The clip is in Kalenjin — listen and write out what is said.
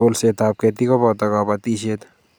Kolseetab ketik koboto kobotishet